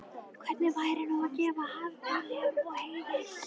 Hvernig væri nú að gefa harðduglegum og heiðar